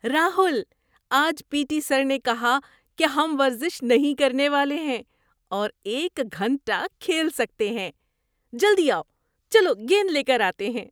راہل! آج P T sir نے کہا کہ ہم ورزش نہیں کرنے والے ہیں اور ایک گھنٹہ کھیل سکتے ہیں! جلدی آؤ، چلو گیند لے کر آتے ہیں!